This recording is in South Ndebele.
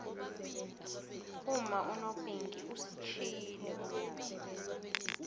umma unopinkie usitjiyile unyaka lo